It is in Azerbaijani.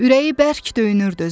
Ürəyi bərk döyünürdü.